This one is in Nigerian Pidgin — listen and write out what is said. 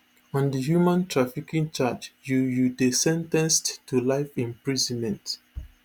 on di human trafficking charge you you dey sen ten ced to life imprisonment